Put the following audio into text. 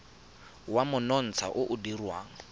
wa monontsha o o dirwang